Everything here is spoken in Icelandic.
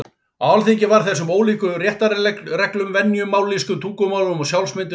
Á Alþingi var þessum ólíku réttarreglum, venjum, mállýskum, tungumálum og sjálfsmyndum stefnt saman.